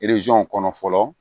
kɔnɔ fɔlɔ